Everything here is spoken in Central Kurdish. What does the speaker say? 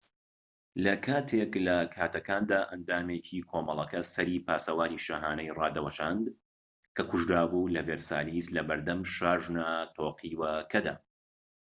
لە کاتێك لە کاتەکاندا ئەندامێکی کۆمەڵەکە سەری پاسەوانی شاهانەی ڕادەوەشاند کە کوژرابوو لە ڤێرسالیس لەبەردەم شاژنە تۆقیوەکەدا